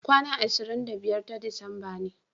kwana ashirin da biyar ta disamba ne